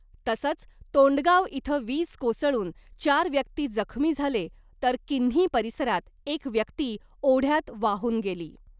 तसंच तोंडगाव इथं वीज कोसळून चार व्यक्ती जखमी झाले तर किन्ही परिसरात एक व्यक्ती ओढयात वाहून गेली .